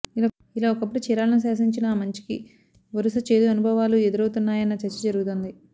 ఇలా ఒకప్పుడు చీరాలను శాసించిన ఆమంచికి వరుస చేదు అనుభవాలు ఎదురవుతున్నాయన్న చర్చ జరుగుతోంది